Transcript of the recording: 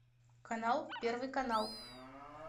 канал первый канал